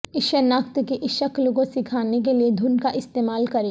اس شناخت کی اس شکل کو سکھانے کے لئے دھن کا استعمال کریں